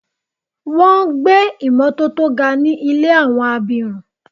Wọ́n gbé ìmotótó ga ní ilé àwọn abirùn.